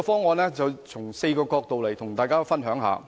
我從4個角度跟大家分享。